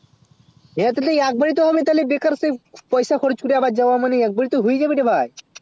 এ হটাতে লি এক বারে তো আমি তালে বেকার সে পয়সা খরচ করে আবার যাবার মানে কে বারে তো হইয়া যাবে ভাই